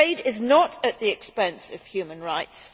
Trade is not at the expense of human rights.